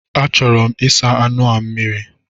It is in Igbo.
A chọrọ m ịsa anụ a mmiri.